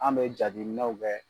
An bɛ jabiminɛnw fɛ.